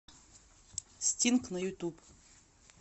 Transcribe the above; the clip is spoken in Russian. стинг на ютуб